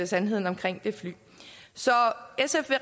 sandheden om det fly så sf vil